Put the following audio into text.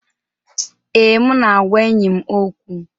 Ee, m na-agwa enyi m okwu.